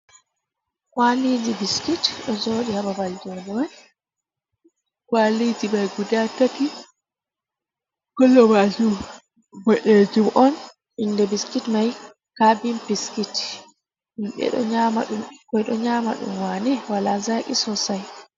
Kwaliji biskit ɗo joɗi haa babal njodemun, kwaliji mai guda tati, colour mai boɗejum on, inde biskit man carbin biskit himɓe ɗo nyama ɗum wane wala zaki sosai.